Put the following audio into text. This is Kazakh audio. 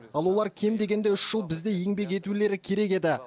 ал олар кем дегенде үш жыл бізде еңбек етулері керек еді